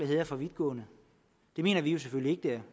her er for vidtgående det mener vi jo selvfølgelig ikke det